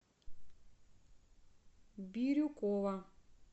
бирюкова